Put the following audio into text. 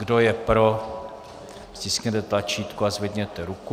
Kdo je pro, stiskněte tlačítko a zdvihněte ruku.